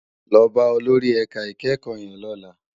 Lò bá ólórì èká ikèékò yèn lòlá